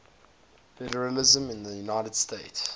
federalism in the united states